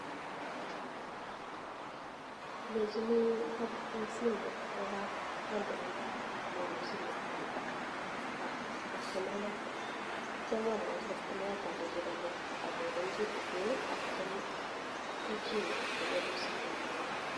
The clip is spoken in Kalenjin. Alejini aprtoi simet kwo kampunit, ateb musiget ak ap kastomayat. Atyam amwochi kastomayat alenji komuita akokeny kitikin, atyam juu chini kot konyor musiget nyi.